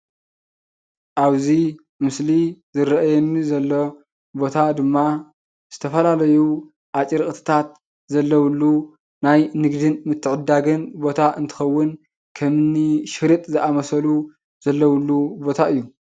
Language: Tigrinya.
ኣብዚ ምስሊ ዝርኣየኒ ዘሎ ቦታ ድማ ዝተፈላለዩ ኣጭርቅትታት ዘለውሉ ናይ ንግድን ምትዕድዳግን ቦታ እንትከውን ከምኒ ሽርጥ ዝኣምሰሉ ዘለውሉ ቦታ እዩ።